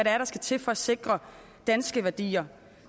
er der skal til for at sikre danske værdier